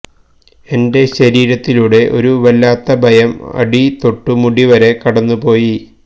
എന്റെ ശരീരത്തിലൂടെ ഒരു വല്ലാത്ത ഭയം അടിതൊട്ടു മുടി വരെ കടന്നു പോയി